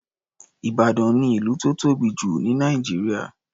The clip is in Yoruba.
Ìbàdàn ni ìlú tó tóbi jù ní Nàìjíríà.